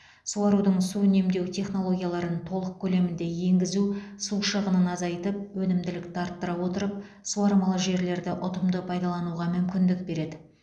суарудың су үнемдеу технологияларын толық көлемде енгізу су шығынын азайтып өнімділікті арттыра отырып суармалы жерлерді ұтымды пайдалануға мүмкіндік береді